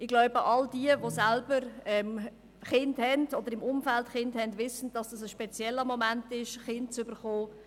Ich denke, dass all jene, die selber Kinder haben oder in deren Umfeld Kinder sind, wissen, dass es ein spezieller Moment ist, wenn man ein Kind bekommt.